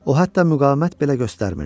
O hətta müqavimət belə göstərmirdi.